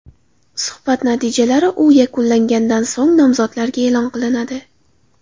Suhbat natijalari u yakunlangandan so‘ng nomzodlarga e’lon qilinadi.